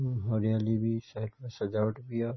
हरियाली भी साइड पर सजावट भी या।